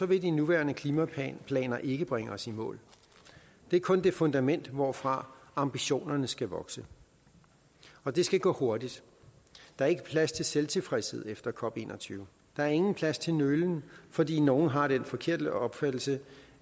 vil de nuværende klimaplaner ikke bringe os i mål det er kun det fundament hvorfra ambitionerne skal vokse og det skal gå hurtigt der er ikke plads til selvtilfredshed efter cop21 der er ingen plads til nølen fordi nogle har den forkerte opfattelse